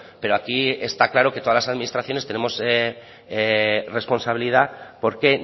pero aquí está claro que todas las administraciones tenemos responsabilidad porque